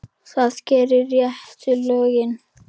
Þú gerir réttu lögin.